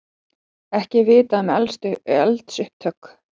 Ekki er vitað um eldsupptök